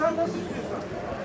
Olur sən nə istəyirsən.